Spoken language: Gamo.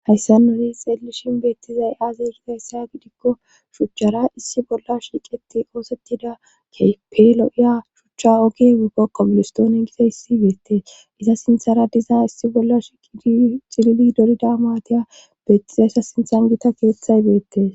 Hayssa noni xeellishin beettizay aazeygizayssaa gidikko shuchchara issi bolla shiiqeti oosettida keype lo7iya shuchcha ogi epo qobilistoone giza issi beettees iza sinthara diza issi bolla shiqii xilili dorida maatiya beettizayssa sinthan gita geethay beettes.